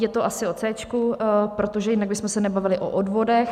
Je to asi o C, protože jinak bychom se nebavili o odvodech.